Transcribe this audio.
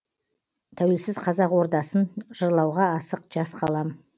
тәуелсіз қазақ ордасын жырлауға асық жас қалам